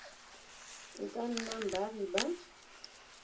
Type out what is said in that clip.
e ka nnang baagi ba